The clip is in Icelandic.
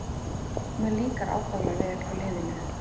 Mér líkar ákaflega vel hjá liðinu